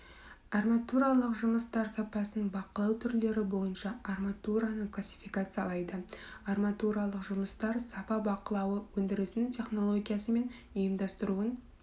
арматуралық жұмыстар сапасын бақылау түрлері бойынша арматураны классификациялайды арматуралық жұмыстар сапа бақылауы өндірісінің технологиясы мен ұйымдастыруын